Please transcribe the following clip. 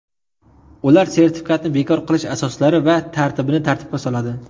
Ular sertifikatni bekor qilish asoslari va tartibini tartibga soladi.